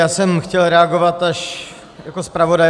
Já jsem chtěl reagovat až jako zpravodaj.